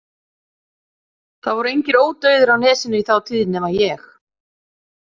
Það voru engir ódauðir á Nesinu í þá tíð nema ég.